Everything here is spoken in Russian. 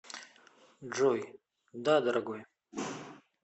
джой да дорогой